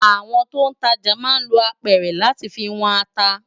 Awòn tó n tàjá má n ló ápèrè làtí fi wòn àtá